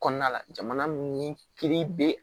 Kɔnɔna la jamana min kiiri be